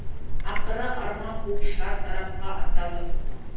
ақыры арман қуып шар тарапқа аттандық